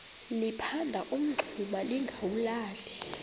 liphanda umngxuma lingawulali